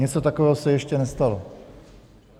Něco takového se ještě nestalo.